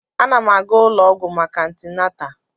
Ana m aga ụlọ ọgwụ maka antịnatal